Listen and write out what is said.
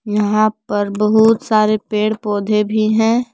यहां पर बहुत सारे पेड़ पौधे भी हैं।